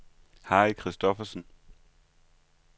Harry Christophersen